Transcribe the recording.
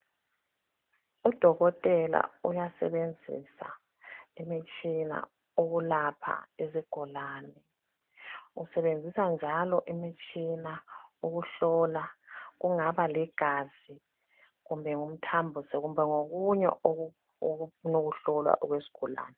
Udokotela uyasebenzisa imitshina ukulapha izigulane usebenzisa njalo imitshina ukuhlola kungaba ligazi kumbe ngumthambiso kumbe ngokunye okufuna ukuhlolwa okwesigulane.